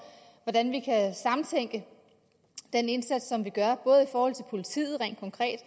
hvordan vi kan sammentænke den indsats som vi gør både i forhold til politiet rent konkret